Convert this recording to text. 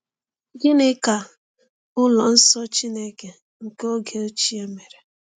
Gịnị ka ụlọ nsọ Chineke nke oge ochie mere?